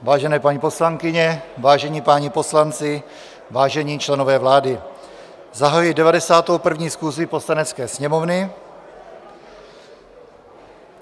Vážené paní poslankyně, vážení páni poslanci, vážení členové vlády, zahajuji 91. schůzi Poslanecké sněmovny.